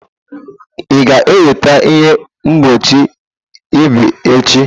Ị ga-enweta ihe mgbochi ebe echi?